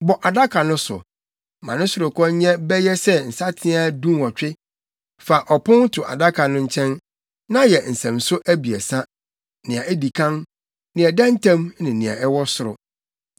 Bɔ adaka no so. Ma ne sorokɔ nyɛ bɛyɛ sɛ nsateaa dunwɔtwe. Fa ɔpon to adaka no nkyɛn, na yɛ nsɛmso abiɛsa; nea edi kan, nea ɛda ntam ne nea ɛwɔ soro.